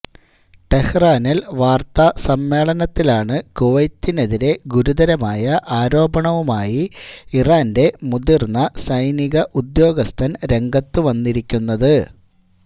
ടെഹ്റാനിൽ വാർത്താ സമ്മേളനത്തിലാണ് കുവൈത്തിനെതിരേ ഗുരുതരമായ ആരോപണവുമായി ഇറാന്റെ മുതിർന്ന സൈനിക ഉദ്യോഗസ്ഥൻ രംഗത്തുവന്നിരിക്കുന്നത്